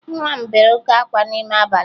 Nwa m bere oke ákwá n'ime abalị